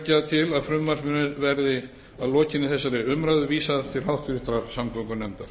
til að frumvarpinu verði að lokinni þessari umræðu vísað til háttvirtrar samgöngunefndar